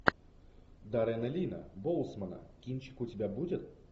даррена лина боусмана кинчик у тебя будет